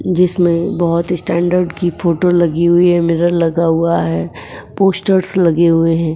जिसमें बहुत ही स्टैंडर्ड की फोटो लगी हुई है। मिरर लगा हुआ है। पोस्टर्स लगे हुए हैं।